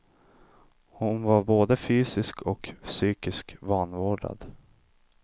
Hon var både fysiskt och psykiskt vanvårdad.